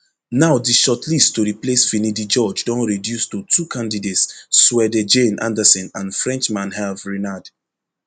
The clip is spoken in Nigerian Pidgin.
now di shortlist to replace finidi george don reduce to two candidates swede janne andersson and frenchman herve renard